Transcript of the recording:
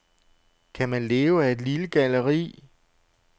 Kan man leve af et lille galleri?